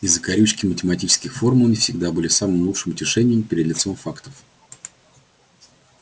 и закорючки математических формул не всегда были самым лучшим утешением перед лицом фактов